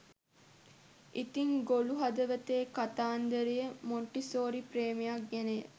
ඉතිං ගොළු හදවතේ කතාන්දරය මොන්ටිසෝරි ප්‍රේමයක් ගැනය